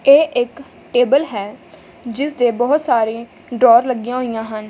ਇਹ ਇੱਕ ਟੇਬਲ ਹੈ ਜਿਸਦੇ ਬਹੁਤ ਸਾਰੀ ਡਰੋਅਰ ਲੱਗੀਆਂ ਹੋਈਆਂ ਹਨ।